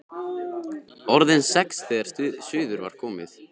Orðin sex þegar suður var komið.